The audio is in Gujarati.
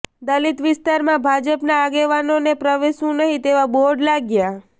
દલિત વિસ્તારમાં ભાજપના આગેવાનોને પ્રવેશવું નહિ તેવા બોર્ડ લાગ્યા